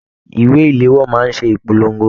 Ìwé iléwọ́ máa n ṣe ìpolongo.